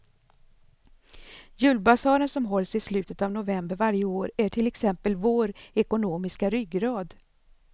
Julbasaren som hålls i slutet av november varje år är till exempel vår ekonomiska ryggrad.